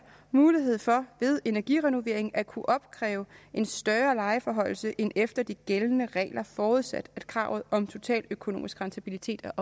mulighed for ved energirenovering at kunne opkræve en større lejeforhøjelse end efter de gældende regler forudsat at kravet om totaløkonomisk rentabilitet er